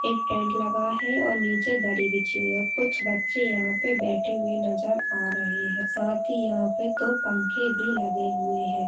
एक टेंट लगा है और निचे दडी बिछी हुई है। कुछ बच्चे यहाँ पर बैठे हुए नजर आ रहे हैं साथ ही यहाँ पे दो पंखे भी लगे हुए हैं।